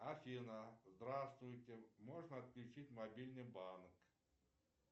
афина здравствуйте можно отключить мобильный банк